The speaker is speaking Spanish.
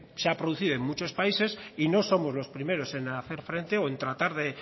se ha producido en muchos países y no somos los primeros en hacer frente o en tratar de